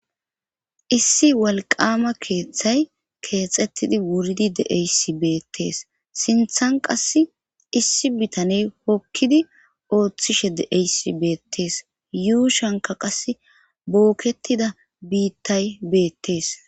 Issi walqama keeththay keexettidi wuridi deeysi beettees sinthan qass issi bitaney hokkidi ooththishe de7eyssi beettees yuu shanka qas booketida biittay beettees